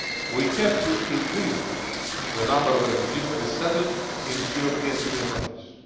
We have to increase the number of refugees resettled in European Union countries.